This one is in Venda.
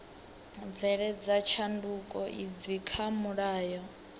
bveledza tshanduko idzi kha mulayo